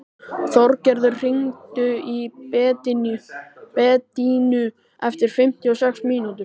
Þorgerður, hringdu í Bedínu eftir fimmtíu og sex mínútur.